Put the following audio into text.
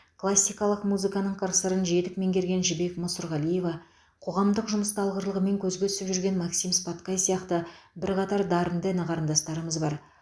классикалық музыканың қыр сырын жетік меңгерген жібек мұсырғалиева қоғамдық жұмыста алғырлығымен көзге түсіп жүрген максим споткай сияқты бірқатар дарынды іні қарындастарымыз бар